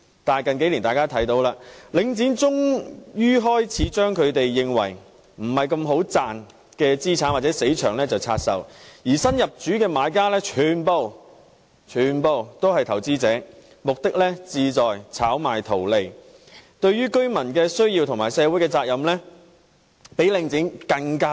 但是，在近數年，大家看到領展終於開始將他們認為利潤不高的資產或"死場"拆售，而新入主的買家全部也是投資者，他們旨在炒賣圖利，對於居民的需要和社會責任比領展更不關心。